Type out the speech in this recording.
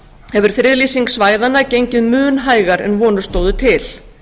hefur friðlýsing svæðanna gengið mun hægar en vonir stóðu til